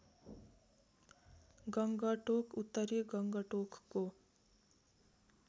गङ्गटोक उत्तरी गङ्गटोकको